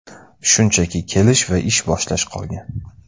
Shunchaki kelish va ish boshlash qolgan.